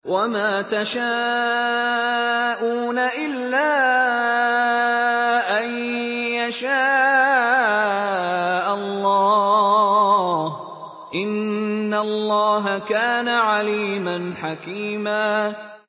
وَمَا تَشَاءُونَ إِلَّا أَن يَشَاءَ اللَّهُ ۚ إِنَّ اللَّهَ كَانَ عَلِيمًا حَكِيمًا